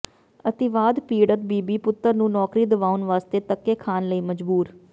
ਅਤਿਵਾਦ ਪੀੜਤ ਬੀਬੀ ਪੁੱਤਰ ਨੂੰ ਨੌਕਰੀ ਦਿਵਾਉਣ ਵਾਸਤੇ ਧੱਕੇ ਖਾਣ ਲਈ ਮਜਬੂਰ